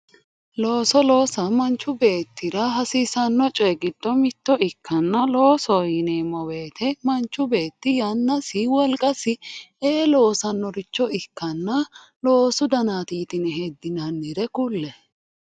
looso loosa manchi beettira hasiisanno coy giddo mitto ikkanna loosoho yineemmo woyiite manchi beetti yannasi wolqasi ee loosannoricho ikkanna loosu danaati yitine heddinannire kulle.